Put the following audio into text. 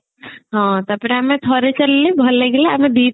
ହଁ ତାପରେ ଆମେ ଥରେ ଚାଲିଲେ ଭଲ ଲାଗିଲା ଆମେ ଦିଥର